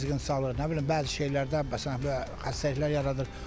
Nə bilim bəzi şeylərdə məsələn xəstəliklər yaradır.